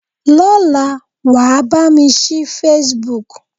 Lọ́la, wàá bá mi ṣí Facebook.